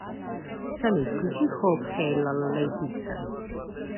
салют включи хоп хэй лала лэй пицца